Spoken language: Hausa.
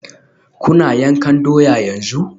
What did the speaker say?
Kuna yankan doya yanzu?